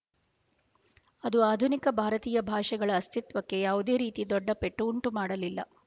ಅದು ಆಧುನಿಕ ಭಾರತೀಯ ಭಾಷೆಗಳ ಅಸ್ತಿತ್ವಕ್ಕೆ ಯಾವುದೇ ರೀತಿ ದೊಡ್ಡ ಪೆಟ್ಟು ಉಂಟು ಮಾಡಲಿಲ್ಲ